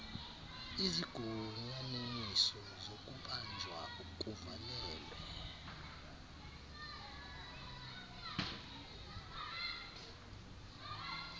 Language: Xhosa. izigunyanyiso zokubanjwa kuvalelwe